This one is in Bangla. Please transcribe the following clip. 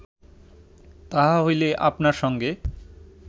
তাহা হইলে আপনার সঙ্গে